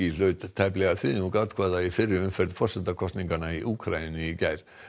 hlaut tæplega þriðjung atkvæða í fyrri umferð forsetakosninganna í Úkraínu í gær